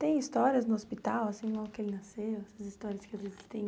Tem histórias no hospital, assim, logo que ele nasceu, essas histórias que existem?